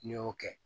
N'i y'o kɛ